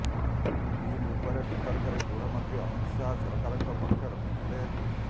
ବିଲ ଉପରେ ବିତର୍କରେ ଗୃହ ମନ୍ତ୍ରୀ ଅମିତ ଶାହା ସରକାରଙ୍କ ପକ୍ଷ ରଖିଥିଲେ